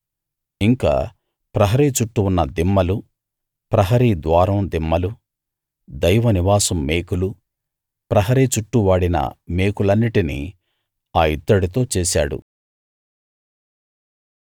ఇంకా ప్రహరీ చుట్టూ ఉన్న దిమ్మలు ప్రహరీ ద్వారం దిమ్మలు దైవ నివాసం మేకులు ప్రహరీ చుట్టూ వాడిన మేకులన్నిటినీ ఆ ఇత్తడితో చేశాడు